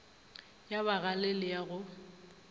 ya bagale le ya go